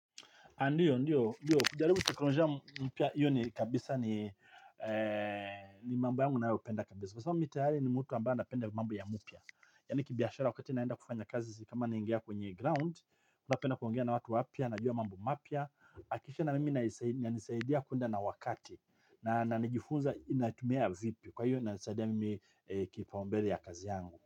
Ndiyo, ndiyo, ndiyo, ndiyo, kujaribu teknolojia mpya, iyo ni kabisa ni mambo yangu ninayopenda kabisa. Kwa sababu mimi tayari ni mtu ambaye anapenda mambo ya mpya. Yani kibiashara wakati naenda kufanya kazi, kama naingia kwenye ground, napenda kuongea na watu wapya, najua mambo mapya, kisha na mimi inanisaidia kuenda na wakati, na najifunza ninatumia vipi, kwa iyo inasaidia mimi kipaumbele ya kazi yangu.